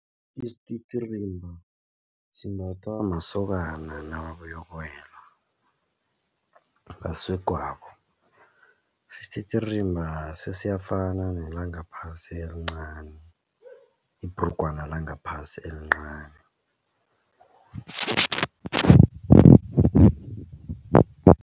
Isititirimba simbathwa masokana nababuyokuwela basegwabo isititirimba sesiyafana nelangaphasi elincani ibhrugwana langaphasi elincani.